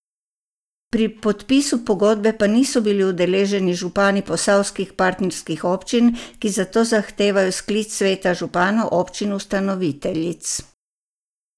Pri podpisu pogodbe pa niso bili udeleženi župani posavskih partnerskih občin, ki zato zahtevajo sklic sveta županov občin ustanoviteljic.